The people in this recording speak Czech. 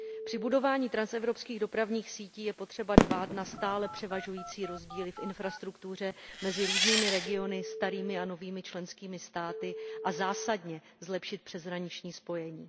Při budování transevropských dopravních sítí je potřeba dbát na stále převažující rozdíly v infrastruktuře mezi různými regiony, starými a novými členskými státy a zásadně zlepšit přeshraniční spojení.